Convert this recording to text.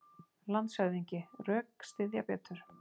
LANDSHÖFÐINGI: Rökstyðja betur!